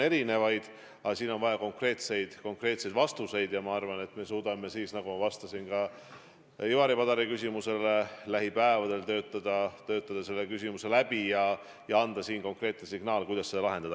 Siin küll on vaja konkreetseid vastuseid ja ma arvan, et me suudame, nagu ma vastasin ka Ivari Padari küsimusele, lähipäevadel töötada selle küsimuse läbi ja anda konkreetse signaali, kuidas seda lahendada.